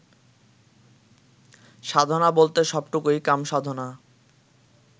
সাধনা বলতে সবটুকুই কামসাধনা